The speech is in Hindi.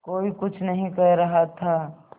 कोई कुछ नहीं कह रहा था